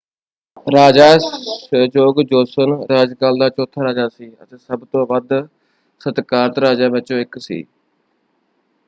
ਰਾਜਾ Sejong Joseon ਰਾਜਕਾਲ ਦਾ ਚੌਥਾ ਰਾਜਾ ਸੀ ਅਤੇ ਸਭ ਤੋਂ ਵੱਧ ਸਤਿਕਾਰਤ ਰਾਜਿਆਂ ਵਿੱਚੋਂ ਇੱਕ ਸੀ।